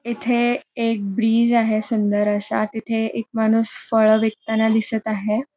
इथे एक ब्रिज आहे सुंदर असा तिथे एक माणूस फळ विकताना दिसत आहे.